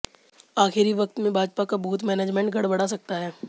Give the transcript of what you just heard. आखिरी वक्त में भाजपा का बूथ मैनेजमेंट गडबड़ा सकता है